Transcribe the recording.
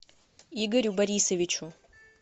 игорю борисовичу